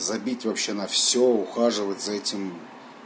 забить вообще на всё ухаживать за этим